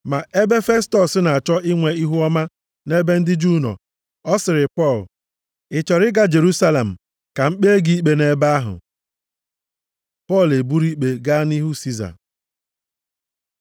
Ma ebe Festọs na-achọ inwe ihuọma nʼebe ndị Juu nọ, ọ sịrị Pọl, “Ị chọrọ ịga Jerusalem ka m kpee gị ikpe nʼebe ahụ?” Pọl eburu ikpe gaa nʼihu Siza